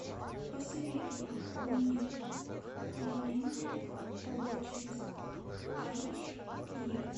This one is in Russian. посоветуй мне переменная облачность айч ди